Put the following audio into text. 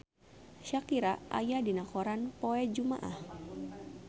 Shakira aya dina koran poe Jumaah